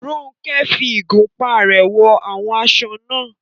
Ronke fi ìgúnpá rẹ̀ wọn àwọn aṣọ náà.